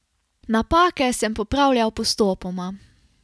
Napake sem popravljal postopoma.